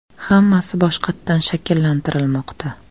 Hammasi boshqatdan shakllantirilmoqda.